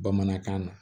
Bamanankan na